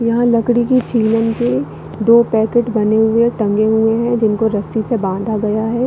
यहाँ लकड़ी की छीलन के दो पैकेट बने हुए है टंगे हुए है जिनको रस्सी से बांधा गया है।